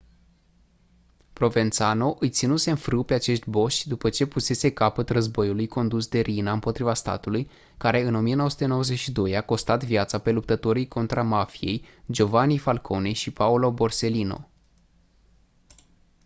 provenzano îi ținuse în frâu pe acești boși după ce pusese capăt războiului condus de riina împotriva statului care în 1992 i-a costat viața pe luptătorii contra mafiei giovanni falcone și paolo borsellino